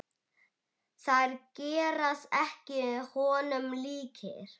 Þeir gerast ekki honum líkir.